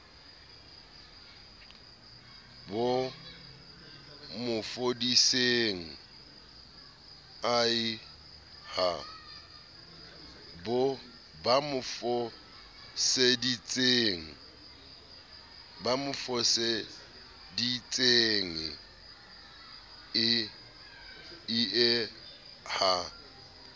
ba mo foseditsenge ie ha